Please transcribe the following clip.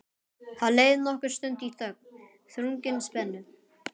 Það leið nokkur stund í þögn, þrungin spennu.